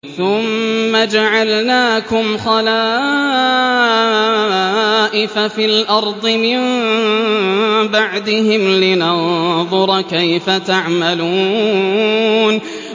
ثُمَّ جَعَلْنَاكُمْ خَلَائِفَ فِي الْأَرْضِ مِن بَعْدِهِمْ لِنَنظُرَ كَيْفَ تَعْمَلُونَ